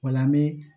O la an bɛ